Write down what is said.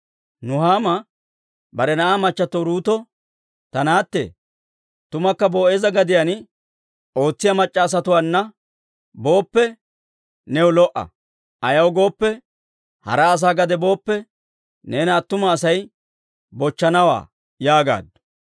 Nuhaama bare na'aa machato Uruuto, «Ta naatte, tumukka Boo'eeza gadiyaan ootsiyaa mac'c'a asatuwaana booppe, new lo"a. Ayaw gooppe, hara asaa gade booppe, neena attuma Asay bochchanawaa» yaagaaddu.